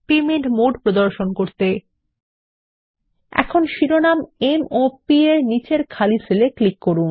এখন আমরা শিরোনাম এমওপি নিচের খালি সেল এর উপর ক্লিক করি